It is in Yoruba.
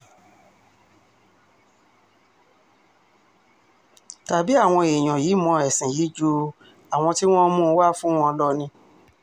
tàbí àwọn èèyàn yìí mọ ẹ̀sìn yìí ju àwọn tí wọ́n mú un wá fún wọn lọ ni